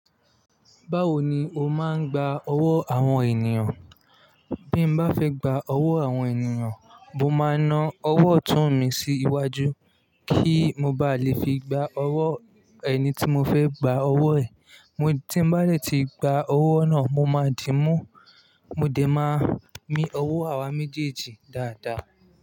Báwo ni o máa ń gba ọwọ́ àwọn ènìyàn? Bí mo bá fẹ́ gba ọwọ́ àwọn ènìyàn, mo máa na ọwọ́ ọ̀tún mi sí iwájú kí mo ba lè fi gba ọwọ́ ẹni tí mo fẹ́ gba ọwọ́ ẹ̀. Tí mo bá lè ti gba ọwọ́ náà, mo máa dìímú, mo dẹ̀ máa mí ọwọ́ àwa méjèèjì dáadáa.